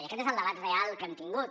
i aquest és el debat real que hem tingut